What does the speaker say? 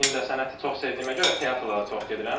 İncəsənəti çox sevdiyimə görə teatrlara çox gedirəm.